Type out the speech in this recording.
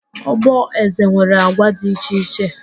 Ogboeze nwere agwa dị iche iche